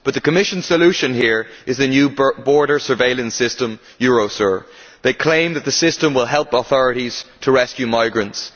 But the Commission's solution here is the new border surveillance system, Eurosur. It claims that the system will help authorities to rescue migrants.